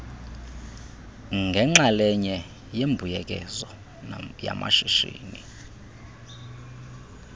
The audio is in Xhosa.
ngenxalenye yembuyekezo yamashishini